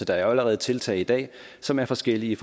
der er jo allerede tiltag i dag som er forskellige